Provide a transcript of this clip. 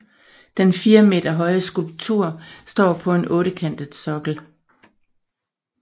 Den fire meter høje skulptur står på en ottekantet sokkel